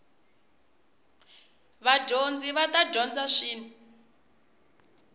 vadyondzi va ta dyondza swin